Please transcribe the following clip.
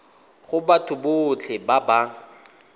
go batho botlhe ba ba